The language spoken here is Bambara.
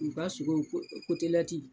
U ka sogo ko kotelɛti.